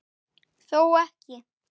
Þó ekki.